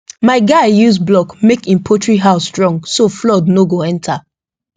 my guy use block make him poultry house strong so flood no go enter